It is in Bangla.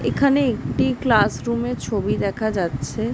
এখানে একটি ক্লাস রুমের ছবি দেখা যাচ্ছে।